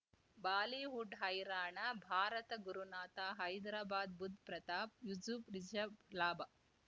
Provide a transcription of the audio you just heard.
Bollywood ಹೈರಾಣ ಭಾರತ ಗುರುನಾಥ ಹೈದ್ರಾಬಾದ್ ಬುಧ್ ಪ್ರತಾಪ್ ಯೂಸುಫ್ ರಿಷಬ್ ಲಾಭ